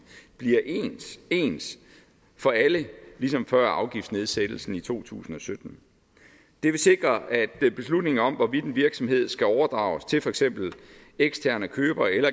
bliver ens for alle ligesom før afgiftsnedsættelsen i to tusind og sytten det vil sikre at beslutningen om hvorvidt en virksomhed skal overdrages til for eksempel eksterne købere eller